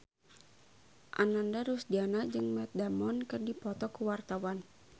Ananda Rusdiana jeung Matt Damon keur dipoto ku wartawan